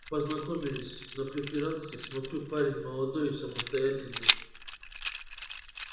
познакомились на преферансе смотрю парень молодой состоятельный